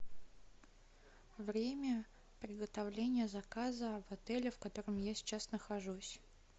время приготовления заказа в отеле в котором я сейчас нахожусь